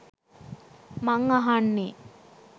මං අහන්නේ